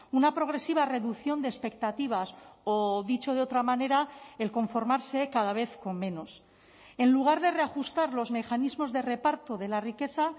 una progresiva reducción de expectativas o dicho de otra manera el conformarse cada vez con menos en lugar de reajustar los mecanismos de reparto de la riqueza